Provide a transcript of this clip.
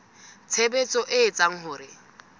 tshebetso e etsang hore ho